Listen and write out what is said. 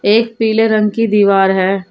एक पीले रंग की दीवार है।